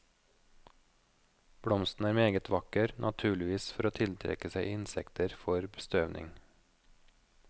Blomsten er meget vakker, naturligvis for å tiltrekke seg insekter for bestøvning.